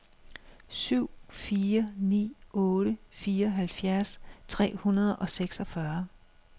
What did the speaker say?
syv fire ni otte fireoghalvfjerds tre hundrede og seksogfyrre